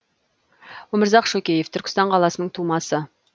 өмірзақ шөкеев түркістан қаласының тумасы